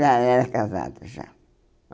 Já era casada, já.